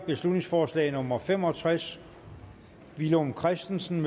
beslutningsforslag nummer b fem og tres villum christensen